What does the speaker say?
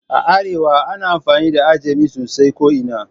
A arewa ana amfani da Ajami sosai ko ina